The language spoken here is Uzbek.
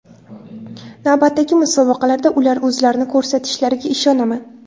Navbatdagi musobaqalarda ular o‘zlarini ko‘rsatishlariga ishonaman”.